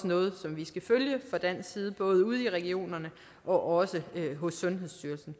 noget som vi skal følge fra dansk side både ude i regionerne og også hos sundhedsstyrelsen